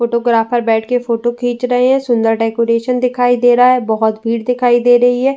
Photographer बैठ के photo खींच रहे हैं। सुंदर डेकोरेशन दिखाई दे रहा है। बोहोत भीड़ दिखाई दे रही हैं।